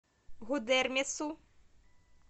гудермесу